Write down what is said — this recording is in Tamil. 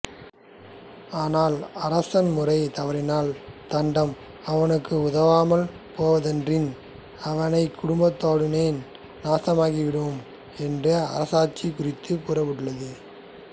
ஆனால் அரசன் முறை தவறினால் தண்டம் அவனுக்கு உதவாமல் போவதன்றி அவனைக் குடும்பத்துடனே நாசமாக்கிவிடும் என்று அரசாட்சிக் குறித்து கூறப்பட்டுள்ளது